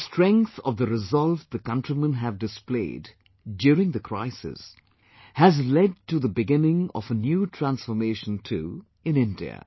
The strength of the resolve the countrymen have displayed during the crisis has led to the beginning of a new transformation too in India